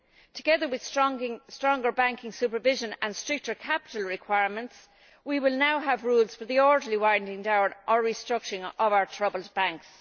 Together with stronger banking supervision and stricter capital requirements we will now have rules for the orderly winding down or restructuring of our troubled banks.